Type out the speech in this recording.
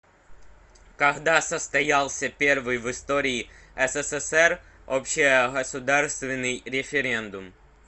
когда состоялся первый в истории ссср общегосударственный референдум